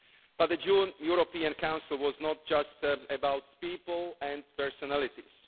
But the June European Council was not just about people and personalities.